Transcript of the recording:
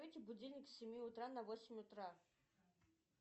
будильник с семи утра на восемь утра